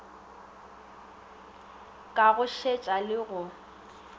ka go šetša le go